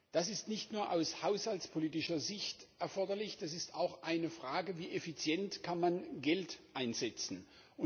Das ist nicht nur aus haushaltspolitischer Sicht erforderlich, das ist auch eine Frage, wie man Geld effizient einsetzen kann.